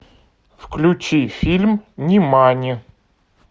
включи фильм нимани